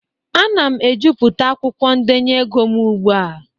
Ana m ejuputa akwụkwọ ndenye ego m ugbu a.